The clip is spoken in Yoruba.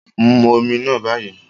Mu omi náà báyìí.